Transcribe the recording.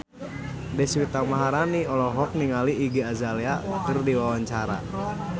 Deswita Maharani olohok ningali Iggy Azalea keur diwawancara